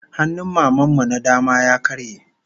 Hannun Maman mu na dama ya karye